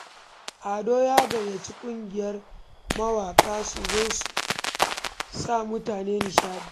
Ado ya gayyaci ƙungiyar mawaƙa su zo su sa mutane nishaɗi.